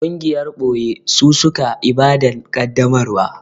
Gungiyar ɓoye su suka Ibadan kaddamarwa